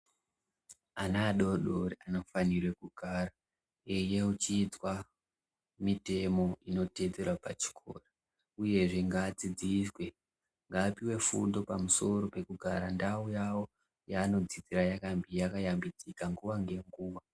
Ana adodori anofanire kugara eiyeuchidzwa mitemo inoteedzerwa pachikoro uyezve ngaadzidziswe ngaapiwe fundo pamisoro pekugara ndau yawo yanodzidzira yakayambidzika nguwa ngenguwa.